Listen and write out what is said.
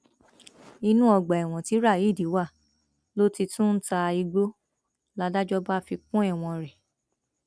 inú ọgbà ẹwọn tí raheed wà ló ti tún ń ta igbó ládàjọ bá fi kún ẹwọn rẹ